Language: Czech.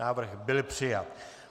Návrh byl přijat.